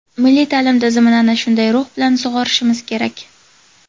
milliy ta’lim tizimini ana shunday ruh bilan sug‘orishimiz kerak.